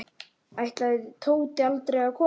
Ætlaði Tóti aldrei að koma?